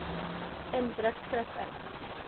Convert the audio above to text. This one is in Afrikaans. in drukskrif in